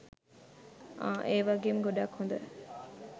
අහ්! ඒ වගේම ගොඩක් හොඳ